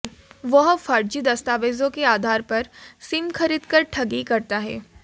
वह फर्जी दस्तावेजों के आधार पर सिम खरीदकर ठगी करता है